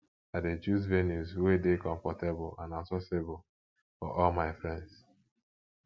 i dey choose venues wey dey comfortable and accessible for all my friends